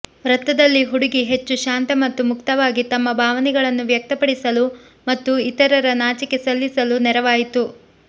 ವೃತ್ತದಲ್ಲಿ ಹುಡುಗಿ ಹೆಚ್ಚು ಶಾಂತ ಮತ್ತು ಮುಕ್ತವಾಗಿ ತಮ್ಮ ಭಾವನೆಗಳನ್ನು ವ್ಯಕ್ತಪಡಿಸಲು ಮತ್ತು ಇತರರ ನಾಚಿಕೆ ನಿಲ್ಲಿಸಲು ನೆರವಾಯಿತು